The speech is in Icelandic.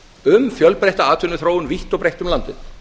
um fjölbreytta atvinnuþróun vítt og breitt um landið